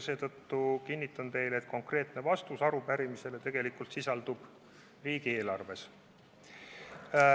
Seetõttu kinnitan teile, et konkreetne vastus arupärimisele sisaldub tegelikult riigieelarves.